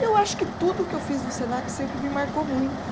Eu acho que tudo o que eu fiz no Senac sempre me marcou muito.